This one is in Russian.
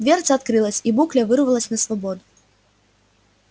дверца открылась и букля вырвалась на свободу